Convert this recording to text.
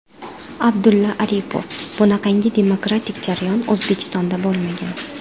Abdulla Aripov: Bunaqangi demokratik jarayon O‘zbekistonda bo‘lmagan.